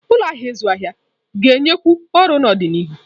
Ụlọ ahịa ịzụ ahịa ga-enyekwu ọrụ n'ọdịnihu.